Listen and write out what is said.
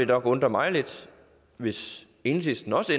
nok undre mig lidt hvis enhedslisten også